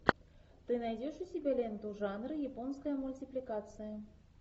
ты найдешь у себя ленту жанра японская мультипликация